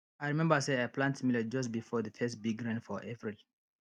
i remember say i plant millet just before the first big rain for april